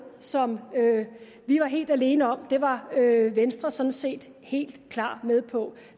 som vi var helt alene om det var venstre sådan set helt klart med på